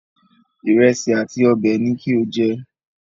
Ìrẹsì àti ọbẹ̀ ni kí o jẹ